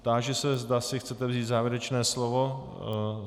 Táži se, zda si chcete vzít závěrečné slovo.